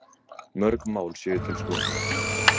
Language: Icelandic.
Mörg mál séu til skoðunar